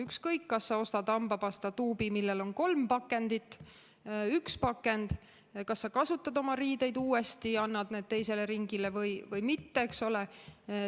Ükskõik, kas sa ostad hambapastatuubi, millel on kolm pakendit või üks pakend, kas sa kasutad oma riideid uuesti, annad need teisele ringile või mitte, eks ole.